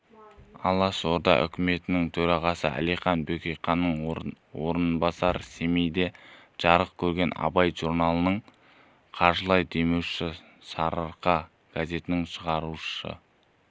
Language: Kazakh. алашорда үкіметінің төрағасы әлихан бөкейханның орынбасары семейде жарық көрген абай журналының қаржылай демеушісі сарыарқа газетінің шығарушы